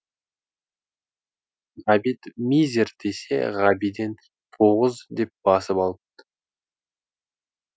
ғабит мизер десе ғабиден тоғыз деп басып алыпты